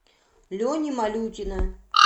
лени малютина